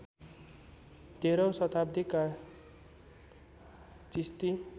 १३ औँ शताब्दीका चिस्ती